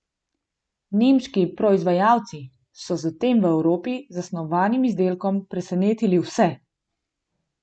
Nemški proizvajalci so z tem v Evropi zasnovanim izdelkom presenetili vse!